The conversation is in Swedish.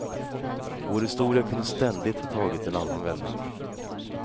Vår historia kunde ständigt ha tagit en annan vändning.